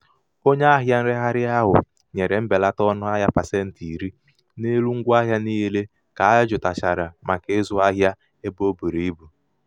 onye ahịa nregharị ahụ nyere mbelata ọnụahịa pasentị iri n'elu ngwaahịa niile ka jụtachara maka ịzụ ahịa ebe o buru ibu.